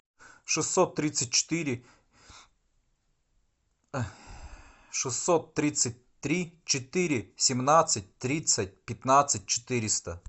шестьсот тридцать четыре шестьсот тридцать три четыре семнадцать тридцать пятнадцать четыреста